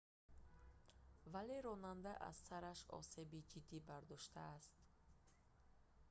вале ронанда аз сараш осеби ҷиддӣ бардоштааст